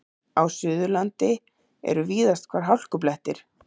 Á Suðurlandi eru víðast hvar hálkublettir